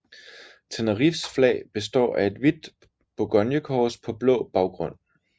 Tenerifes flag består af et hvidt Bourgogne kors på blå baggrund